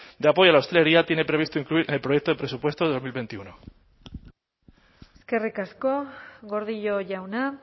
de apoyo a la hostelería tiene previsto incluir en el proyecto de presupuestos de dos mil veintiuno eskerrik asko gordillo jauna